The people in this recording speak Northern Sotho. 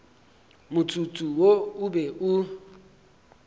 motsotso wo o be o